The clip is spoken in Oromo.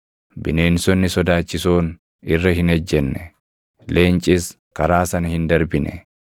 Bineensonni sodaachisoon irra hin ejjenne; leencis karaa sana hin darbine.